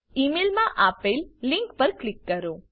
ઇ mail માં આપેલ link પર ક્લિક કરો